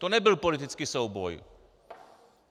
To nebyl politický souboj.